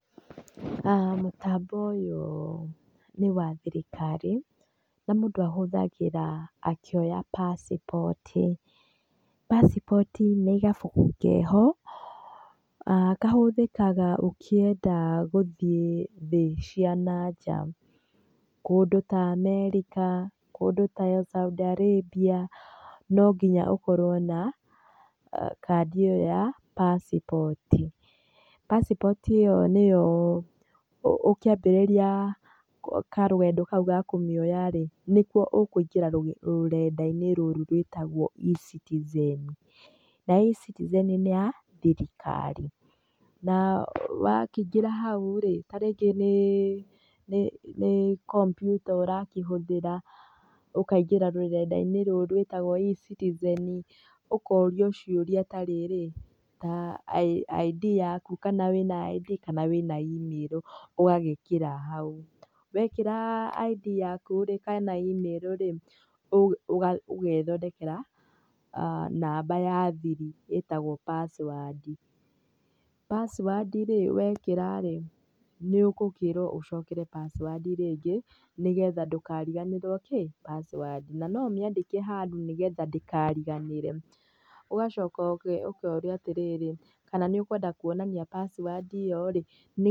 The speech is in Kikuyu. Mũtambo ũyũ nĩwa thirikari, na mũndũ ahũthagĩra akĩoya pasipoti, pasipoti nĩ gabuku keho, ah kahũthĩkaga ũkĩenda gũthiĩ thĩ cia nanja. Kũndũ ta America, kũndũ ta Saudi Arabia, no nginya ũkorwo na kandi ĩyo ya pasipoti. Pasipoti ĩyo nĩyo ũ ũkĩambĩrĩria karũgendo kau ga kũmioya rĩ, nĩko ũkũingĩra rũrendainĩ rũrũ rwĩtagwo E-citizen. Na E-citizen nĩ ya thirikari. Na wakĩingĩra hau rĩ, tarĩngĩ nĩ nĩ nĩ kombyuta ũrakĩhũthĩra, ũkaingĩra rũrendainĩ rũrũ rwĩtagwo E-citizen, Ũkorio ciũrĩa tarĩrĩ, ta ID yaku kana wĩna ID kana wĩna email ũgagĩkĩra hau. Wekĩra ID yaku rĩ, kana email rĩ, ũ ũga ũgethondekera, namba ya thiri ĩtagwo password rĩ, wekĩra rĩ, nĩũgĩkĩrwo ũcokere password rĩngĩ, nĩgetha ndũkariganĩrwo kĩ?password na no ũmĩandĩke handũ nĩgetha ndĩkariganĩre. Ũgacoka ũ ũkorio atĩrĩrĩ, kana nĩũkwenda kuonania password ĩyo rĩ.